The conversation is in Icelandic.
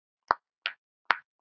Davíð Halló.